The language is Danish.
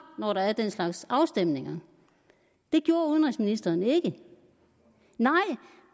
når der er den slags afstemninger det gjorde udenrigsministeren ikke nej